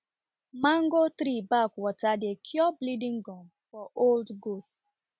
mango tree bark water dey cure bleeding gum for old goat